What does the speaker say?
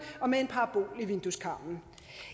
og med en parabol i vindueskarmen